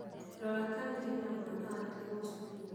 Rora kana hena mwana watigwo cukuru.